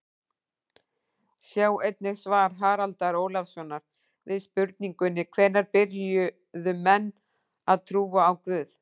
Sjá einnig svar Haraldar Ólafssonar við spurningunni Hvenær byrjuðu menn að trúa á guð?